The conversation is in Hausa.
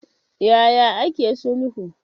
Ya ya ake sulhu?